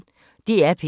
DR P1